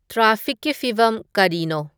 ꯇ꯭ꯔꯥꯐꯤꯛꯀꯤ ꯐꯤꯕꯝ ꯀꯔꯤꯅꯣ